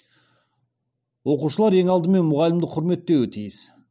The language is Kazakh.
оқушылар ең алдымен мұғалімді құрметтеуі тиіс